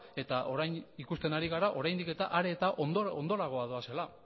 eta orain ikusten ari gara oraindik eta are eta ondorago doazela